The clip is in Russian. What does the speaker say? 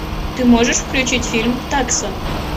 ты можешь включить фильм такса